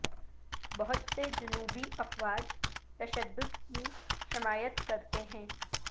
بہت سے جنوبی افواج تشدد کی حمایت کرتے ہیں